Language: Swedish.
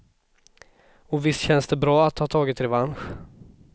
Och visst känns det bra att ha tagit revansch.